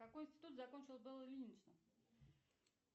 какой институт закончила белла ильинична